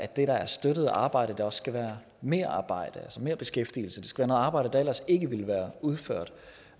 der er støttet arbejde også skal være merarbejde altså merbeskæftigelse det skal være noget arbejde der ellers ikke ville være udført